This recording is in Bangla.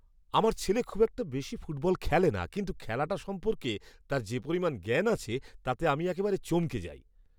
আমার ছেলে খুব বেশি ফুটবল খেলে না কিন্তু খেলাটা সম্পর্কে তার যে পরিমাণ জ্ঞান আছে তাতে আমি একেবারে চমকে যাই।